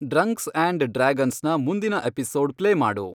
ಡ್ರಂಕ್ಸ್ and dragons ನ ಮುಂದಿನ episode play ಮಾಡು